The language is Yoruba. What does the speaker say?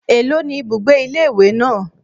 Èló ni ibùgbé ilé ìwé náà?